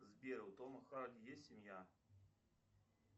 сбер у тома харди есть семья